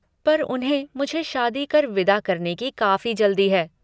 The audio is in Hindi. पर उन्हें मुझे शादी कर विदा करने की काफ़ी जल्दी है।